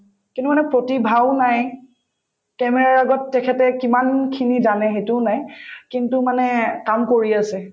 কিন্তু মানে প্ৰাতিভাও নাই camera ৰ আগত তেখেতে কিমানখিনি জানে সেইটোও নাই কিন্তু মানে কাম কৰি আছে